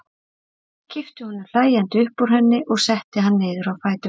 Kippti honum hlæjandi upp úr henni og setti hann niður á fæturna.